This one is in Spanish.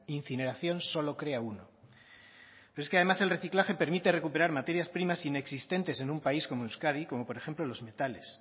incineración solo crea uno pero es que además el reciclaje permite recuperar materias primas inexistentes en un país como euskadi como por ejemplo los metales